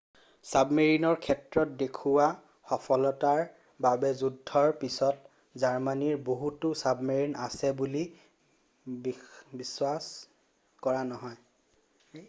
ছাবমেৰিনৰ ক্ষেত্ৰত দেখুওৱা সফলতাৰ বাবে যুদ্ধৰ পিছত জাৰ্মানীৰ বহুতো ছাবমেৰিন আছে বুলি বিশ্বাস কৰা নহয়